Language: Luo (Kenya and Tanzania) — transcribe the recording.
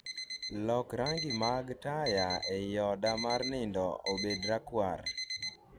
Lok rangi mag taya ei oda mar nindo obed rakwar